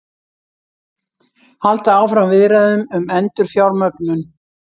Halda áfram viðræðum um endurfjármögnun